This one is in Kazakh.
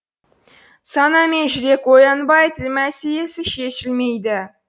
сана мен жүрек оянбай тіл мәселесі шешілмейді